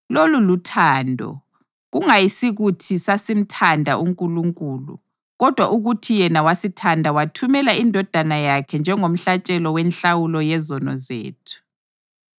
Lolu luthando: kungayisikuthi sasimthanda uNkulunkulu kodwa ukuthi yena wasithanda wathumela iNdodana yakhe njengomhlatshelo wenhlawulo yezono zethu.